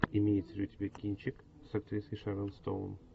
имеется ли у тебя кинчик с актрисой шерон стоун